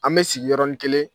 An bɛ sigi yɔrɔnin kelen